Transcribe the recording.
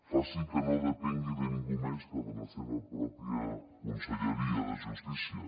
faci que no depengui de ningú més que de la seva pròpia conselleria de justícia